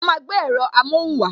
A máa gbé èrọ amohun wa